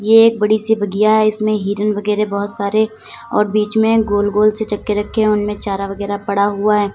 ये एक बड़ी सी बगिया है इसमें हिरण वगैरे बोहोत सारे और बीच में गोल गोल से चक्के रखे हैं उनमें चार वगैरा पड़ा हुआ है।